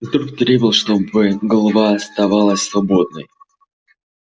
инстинкт требовал чтобы голова оставалась свободной